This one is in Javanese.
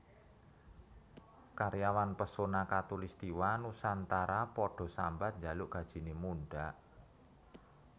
Karyawan Pesona Khatulistiwa Nusantara podo sambat njaluk gajine mundhak